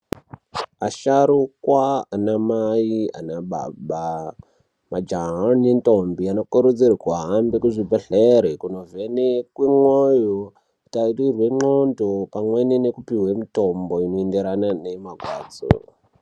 Asharukwa, anamai anababa, majaha nendombi anokurudzirwa kuhambe kuzvibhedhlera kunovhenekwe moyo kutarirwe ndxondo pamwe nekupiwe mitombo inoenderana nemarwadzo.